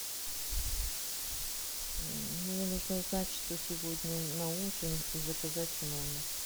мне нужно узнать что сегодня на ужин и заказать в номер